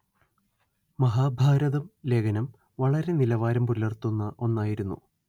മഹാഭാരതം ലേഖനം വളരെ നിലവാരം പുലര്‍ത്തുന്ന ഒന്നായിരുന്നു